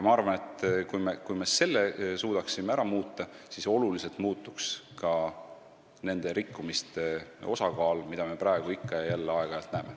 Ma arvan, et kui me selle suudaksime ära muuta, siis muutuks suuresti ka nende rikkumiste osakaal, mida me praegu ikka ja jälle aeg-ajalt näeme.